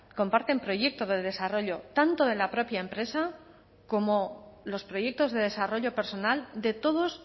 comparten proyecto de desarrollo tanto de la propia empresa como los proyectos de desarrollo personal de todos